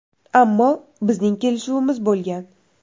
Ammo bizning kelishuvimiz bo‘lgan.